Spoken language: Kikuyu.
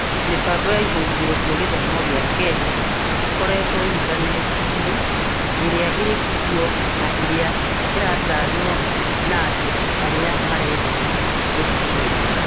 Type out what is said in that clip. Mĩbango ya ĩhũngĩro cĩa Gĩthomo gĩa Kenya gĩkorĩtwo intaneti-inĩ ĩrĩa ĩrĩ kuo na ĩrĩa ĩratanywo na andũ arĩa marenda gũthikĩrĩria.